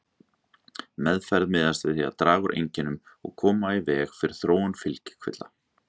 Meðferð miðast að því að draga úr einkennum og koma í veg fyrir þróun fylgikvilla.